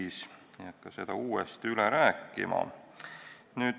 Ma ei hakka seda uuesti üle rääkima.